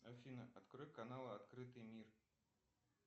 афина открой канал открытый мир